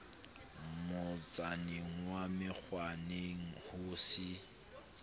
motsaneng wa menkgwaneng ho se